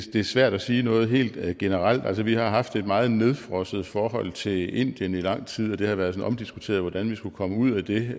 er svært at sige noget helt generelt altså vi har haft et meget nedfrosset forhold til indien i lang tid og det har sådan været omdiskuteret hvordan vi skulle komme ud af det